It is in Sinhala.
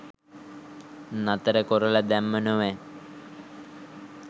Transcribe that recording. නතර කොරල දැම්ම නොවැ